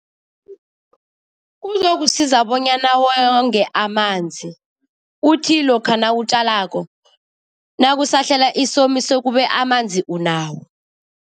Kuzokusiza bonyana wonge amanzi. Uthi lokha nawutjalako, nakusahlela isomiso kube amanzi unawo.